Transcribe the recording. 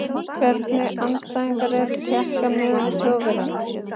Hvernig andstæðingar eru Tékkar miðað við Þjóðverjana?